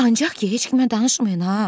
Ancaq ki, heç kimə danışmayın ha!